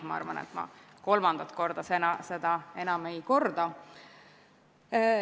Ma arvan, et ma kolmandat korda seda enam ei korda.